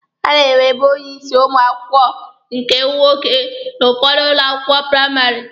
A na-enwebu onye isi ụmụ akwụkwọ nke nwoke n'ụfọdụ ụlọ akwụkwọ praịmarị.